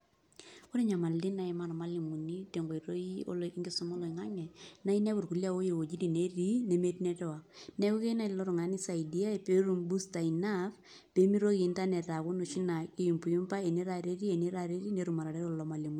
Ore nyamalitin naimaa irmalimulini tenkoitoi enkisuma oloingangi na inepu irkulie a ore wuejitin natii nemetii network neaku keyieu nai lolo tunganak nisaidiae petum booster enough pemitoki internet aaku enoshi na kiyumbayumba ene tata etii ene taata etii netum atareto irmalimulini.